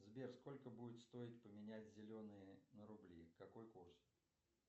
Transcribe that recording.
сбер сколько будет стоить поменять зеленые на рубли какой курс